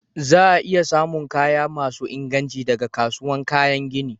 Za'a iya samu kaya masun inganci daga kasuwan kayan gini.